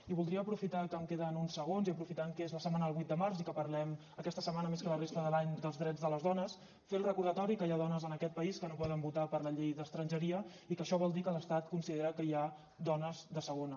i voldria aprofitar que em queden uns segons i aprofitant que és la setmana del vuit de març i que parlem aquesta setmana més que la resta de l’any dels drets de les dones per fer el recordatori que hi ha dones en aquest país que no poden votar per la llei d’estrangeria i que això vol dir que l’estat considera que hi ha dones de segona